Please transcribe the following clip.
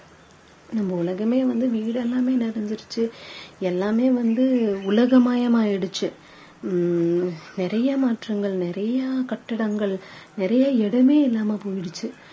நம்ம உலகமே வந்து வீடு எல்லாமே நிறைஞ்சுருச்சு எல்லாமே வந்து உலகமயம் ஆகிடுச்சு ஹம் நிறைய மாற்றங்கள் நிறைய கட்டிடங்கள் நிறைய இடமே இல்லாம போயிடுச்சு